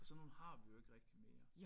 Og sådan nogle har vi jo ikke rigtig mere